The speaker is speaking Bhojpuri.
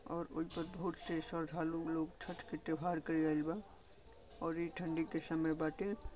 और श्रद्धालु लोग छठ के त्यौहार करे आईल बा और ई ठंडी समय बाटे।